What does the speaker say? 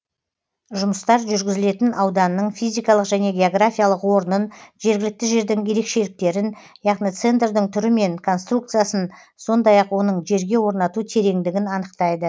жұмыстар жүргізілетін ауданның физикалық және географиялық орнын жергілікті жердің ерекшеліктерін яғни центрдің түрі мен конструкциясын сондай ақ оның жерге орнату тереңдігін анықтайды